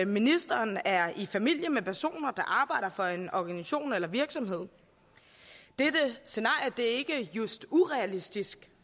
ministeren er i familie med personer der arbejder for en organisation eller virksomhed dette scenarie er ikke just urealistisk